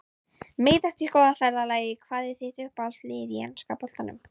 Meiðast í skólaferðalagi Hvað er þitt uppáhaldslið í enska boltanum?